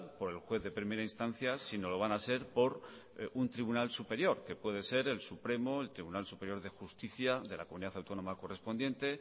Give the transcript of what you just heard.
por el juez de primera instancia sino lo van a ser por un tribunal superior que puede ser el supremo el tribunal superior de justicia de la comunidad autónoma correspondiente